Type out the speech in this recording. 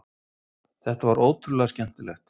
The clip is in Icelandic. Þetta var ótrúlega skemmtilegt